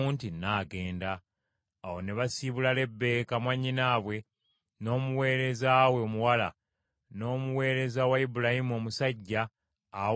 Awo ne basiibula Lebbeeka mwannyinaabwe, n’omuweereza we omuwala, n’omuweereza wa Ibulayimu omusajja awamu n’abasajja be.